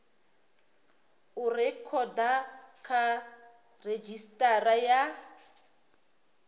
u rekhoda kha redzhisitara ya